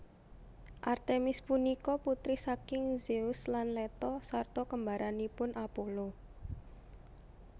Artemis punika putri saking Zeus lan Leto sarta kembaranipun Apollo